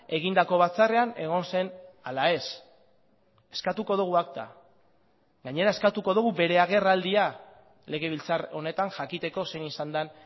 egindako batzarrean egon zen ala ez eskatuko dugu akta gainera eskatuko dugu bere agerraldia legebiltzar honetan jakiteko zein izan den